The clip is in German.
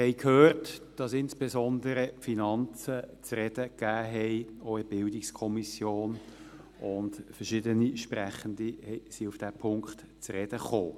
Wir haben gehört, dass insbesondere die Finanzen zu reden gaben, auch in der BiK, und verschiedene Sprechende sind auf diesen Punkt zu sprechen gekommen.